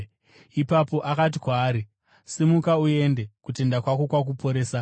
Ipapo akati kwaari, “Simuka uende; kutenda kwako kwakuporesa.”